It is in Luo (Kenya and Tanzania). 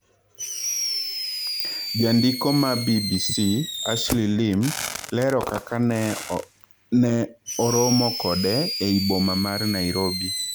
Jandiko ma BBC Ashley Lim lero kaka ne oromo kode ei boma mar Nairobi.